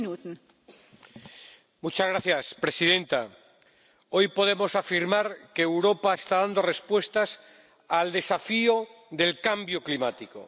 Señora presidenta, hoy podemos afirmar que Europa está dando respuestas al desafío del cambio climático.